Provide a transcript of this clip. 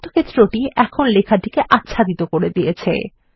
আয়তক্ষেত্রটি এখন লেখাটিকে আচ্ছাদিত করে দিয়েছে